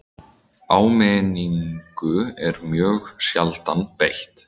Áminningu er mjög sjaldan beitt